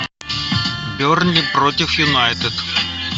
бернли против юнайтед